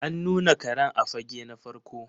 An nuna Karen a fage na farko.